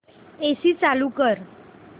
AC चालू कर